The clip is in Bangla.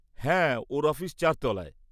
হ্যাঁ, ওঁর অফিস চার তলায়।